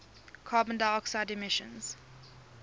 carbon dioxide emissions